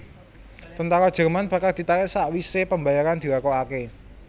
Tentara Jerman bakal ditarik sakwisé pembayaran dilakokaké